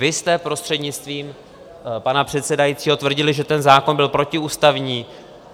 Vy jste, prostřednictvím pana předsedajícího, tvrdili, že ten zákon byl protiústavní.